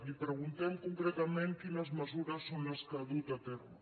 li preguntem concretament quines mesures són les que ha dut a terme